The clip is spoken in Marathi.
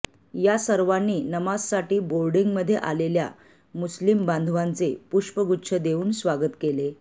या सर्वांनी नमाजसाठी बोर्डींगमध्ये आलेल्या मुस्लिम बांधवाचे पुष्पगुच्छ देऊन स्वागत केले